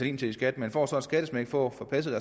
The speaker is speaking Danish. ind til i skat man får så et skattesmæk for at få passet